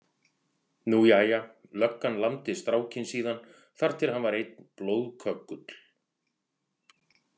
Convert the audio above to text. Nú jæja, löggan lamdi strákinn síðan þar til hann var einn blóðköggull.